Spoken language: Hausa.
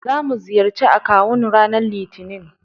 Zamu ziyarci akawun ranar Litinin.